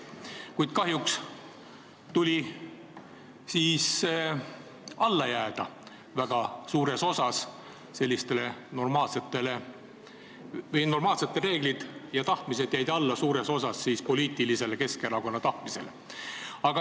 Kuid kahjuks siis jäid normaalsed reeglid ja tahtmised suuresti alla Keskerakonna poliitilisele tahtmisele.